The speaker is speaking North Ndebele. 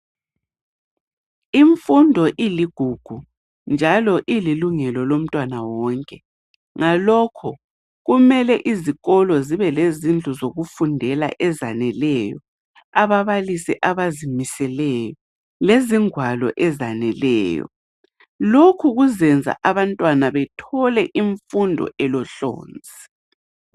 Imfundo iligugu, njalo ililungelo lomntwana wonke ngalokho kumele izikolo zibe lezindlu zokufundela ezaneleyo, ababalisi abazimiseleyo lezingwalo ezaneleyo. Lokhu kuzenza abantwana bethole imfundo elohlonzi.